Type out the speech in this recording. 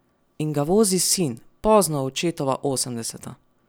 In ga vozi sin, pozno v očetova osemdeseta.